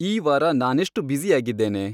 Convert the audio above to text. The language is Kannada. ಈ ವಾರ ನಾನೆಷ್ಟು ಬ್ಯುಸಿಯಾಗಿದ್ದೇನೆ